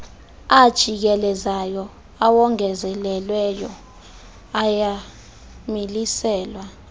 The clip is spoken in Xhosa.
ajikelezayo awongezelelweyo ayamiliselwa